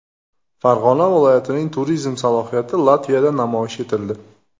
Farg‘ona viloyatining turizm salohiyati Latviyada namoyish etildi.